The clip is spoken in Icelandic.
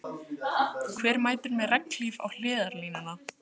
Hver mætir með regnhlíf á hliðarlínuna?